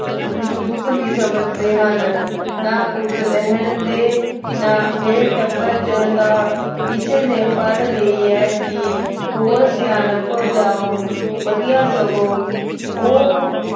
ਦੁੱਖ ਨਹੀਂ ਸਮਝਦੇ ਹਨ। ਨਾ ਪੁੱਤ ਰਹਿਣ ਦੇ। ਮੇਰੇ ਟੱਬਰ ਚ ਕਿਸੇ ਨੇ ਪੜ੍ਹ ਲਈ ਏ ਕਿ ਹੋਰ ਸਿਆਪਾ ਹੋ ਜਾਉ। ਵਧੀਆ ਸਗੋਂ ਉਹ